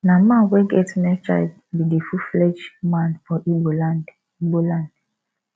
na man wey get male child be de full flegde man for igbo land igbo land